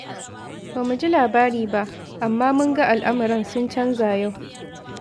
Ba mu ji labari ba, amma mun ga al’amuran sun canza yau.